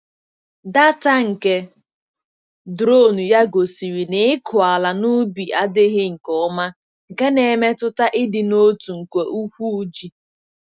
Data nke drone ya gosiri na ịkụ ala n’ubi adịghị nke ọma, nke na-emetụta ịdị n'otu nke ụkwụ ji.